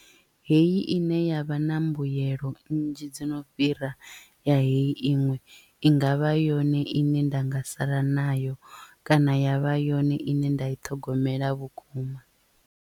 Heyi ine yavha na mbuyelo nnzhi dzo no fhira ya heyi iṅwe i ngavha yone ine nda nga sala nayo kana yavha yone ine nda i ṱhogomela vhukuma.